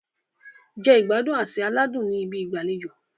Jẹ ìgbádùn àsè aládùn ní ibi ìgbàlejò.